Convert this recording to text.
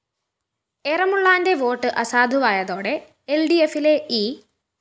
എറമുളളാന്റെ vote അസാധുവായതോടെ എല്‍ഡിഎഫിലെ E